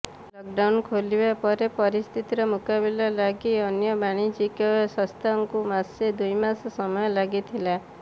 lockdown ଖୋଲିବା ପରେ ପରିସ୍ଥିତିର ମୁକାବିଲା ଲାଗି ଅନ୍ୟ ବାଣିଜ୍ୟିକ ସଂସ୍ଥାଙ୍କୁ ମାସେ ଦୁଇମାସ ସମୟ ଲାଗିଥିଲା